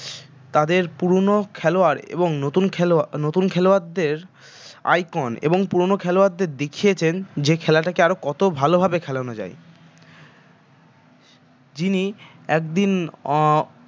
তাদের পুরোনো খেলোয়াড় এবং নতুন খেলোয়াড় নতুন খেলোয়াড়দের icon এবং পুরোনো খেলোয়াড়দের দেখিয়েছেন যে খেলাটাকে আরো কত ভালভাবে খেলানো যায় যিনি একদিন আহ